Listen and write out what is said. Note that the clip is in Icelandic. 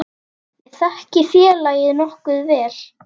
Ég þekki félagið nokkuð vel.